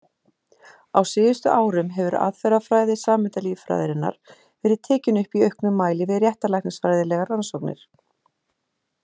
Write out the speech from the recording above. Á síðustu árum hefur aðferðafræði sameindalíffræðinnar verið tekin upp í auknum mæli við réttarlæknisfræðilegar rannsóknir.